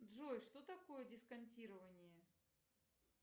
джой что такое дисконтирование